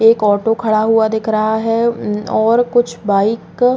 एक ऑटो खड़ा हुआ दिख रहा है और कुछ बाइक --